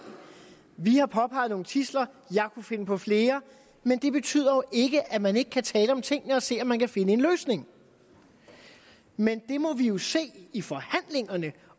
vi har påpeget nogle tidsler jeg kunne finde på flere men det betyder jo ikke at man ikke kan tale om tingene og se om man kan finde en løsning men det må vi vi se i forhandlingerne